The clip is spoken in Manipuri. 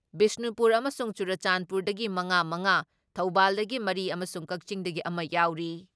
ꯕꯤꯁꯅꯨꯄꯨꯔ ꯑꯃꯁꯨꯡ ꯆꯨꯔꯆꯥꯟꯄꯨꯔꯗꯒꯤ ꯃꯉꯥ ꯃꯉꯥ, ꯊꯧꯕꯥꯜꯗꯒꯤ ꯃꯔꯤ ꯑꯃꯁꯨꯡ ꯀꯛꯆꯤꯡꯗꯒꯤ ꯑꯃ ꯌꯥꯎꯔꯤ ꯫